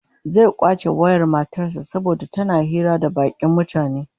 Zai kwace wayar matar sa saboda tana hira da bakin mutane